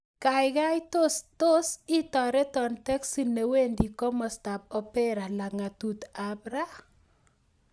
Gaigai tos itaretan teksi newendi komostab opera lagatut ab ra